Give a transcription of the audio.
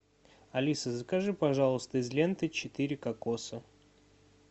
алиса закажи пожалуйста из ленты четыре кокоса